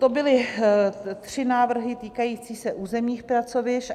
To byly tři návrhy týkající se územních pracovišť.